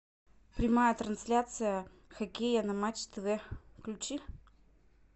прямая трансляция хоккея на матч тв включи